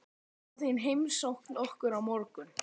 Mamma þín heimsótti okkur í morgun.